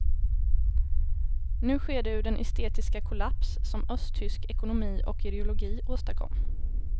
Nu sker det ur den estetiska kollaps som östtysk ekonomi och ideologi åstadkom.